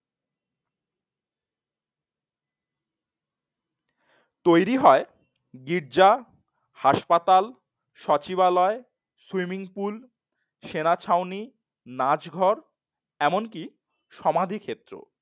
তৈরী হয় গির্জা, হাসপাতাল, সচিবালয়, সুইমিং পুল সেনা ছাউনি, নাচ ঘর এমনকি সমাধি ক্ষেত্র ও